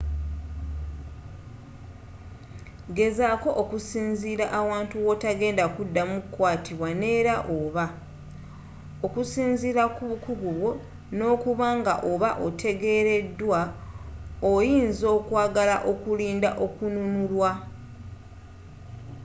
gezaaako okusinziirira awantu wotta genda kuddamu kwatibwa neera oba, okusinziira ku bukugu bwo n’okubanga oba otegereeddwa oyinza okwagala okulinda okununulwa